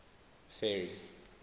ferry